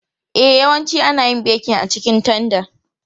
E, yawanci ana yin bekin a cikin tanda.